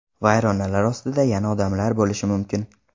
Vayronalar ostida yana odamlar bo‘lishi mumkin.